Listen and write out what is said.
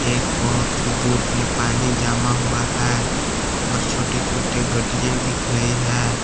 एक बहुत ही दूर में पानी जमा हुआ है और छोटे छोटे गड्डियां दिख रही है।